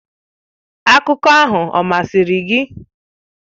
Akụkọ ahụ ọ masịrị gị?.